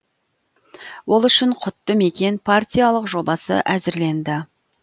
ол үшін құтты мекен партиялық жобасы әзірленді